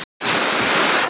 Það er vel